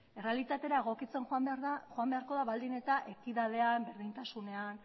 errealitatera egokitzen joan beharko da baldin eta ekitatean berdintasunean